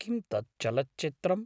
किं तत् चलच्चित्रम्?